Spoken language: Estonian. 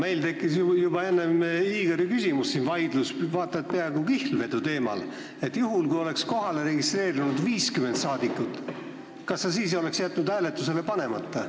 Meil tekkis juba enne Igori küsimust siin vaidlus või vaata et peaaegu kihlvedu teemal, et kui oleks kohalolijaks registreerunud 50 rahvasaadikut, kas sa siis oleksid jätnud eelnõu hääletusele panemata.